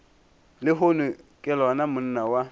lehono ke lona monna wa